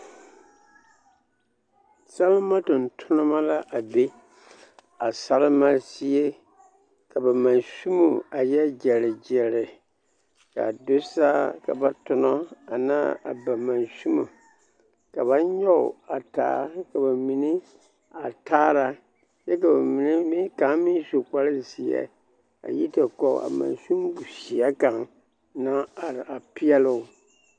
Salema tontonema la a be a salema zie ka ba mansimo a yɛ gyɛre gyɛre k'a do saa ka ba tonɔ anaa ba mansimo ka ba nyɔge a taa ka bamine a taara kyɛ ka bamine kaŋa meŋ su kpare zeɛ a yi te kɔge a mansin zeɛ kaŋ naŋ are a peɛloo.